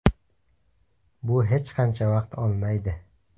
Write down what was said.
Bu hech qancha vaqt olmaydi.